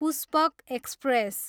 Pushpak express